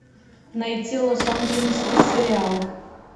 найти лос анджелесский сериал